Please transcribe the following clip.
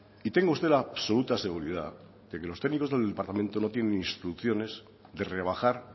y tenga usted la absoluta seguridad de que los técnicos del departamento no tiene instrucciones de rebajar